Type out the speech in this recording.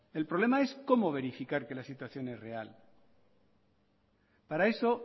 el problema es cómo verificar que la situación es real para eso